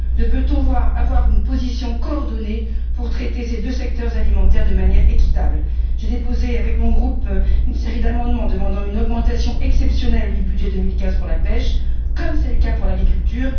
Ne peut on avoir une position coordonnée pour traiter ces deux secteurs alimentaires de manière équitable? J'ai déposé avec mon groupe une série d'amendements demandant une augmentation exceptionnelle du budget 2015 pour la pêche, comme c'est le cas pour l'agriculture.